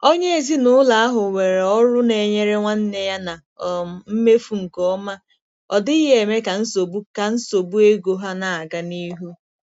Onye ezinụlọ ahụ nwere ọrụ na-enyere nwanne ya na um mmefu nke ọma, ọ dịghị eme ka nsogbu ka nsogbu ego ha na-aga n'ihu.